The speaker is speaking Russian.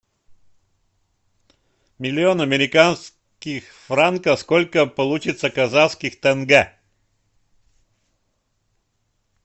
миллион американских франков сколько получится казахских тенге